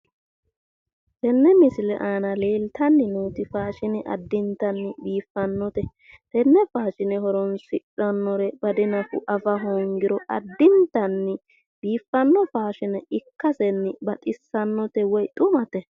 Tenne misile aana leeltanni nooti faashine addintanni biiffannote tenne faashine horonsidhannore bade nafu afa hoongiro baxissannote woy xumate